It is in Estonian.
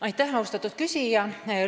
Aitäh, austatud küsija!